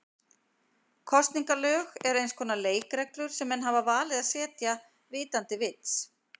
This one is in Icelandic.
Kosningalög eru eins konar leikreglur sem menn hafa valið að setja vitandi vits.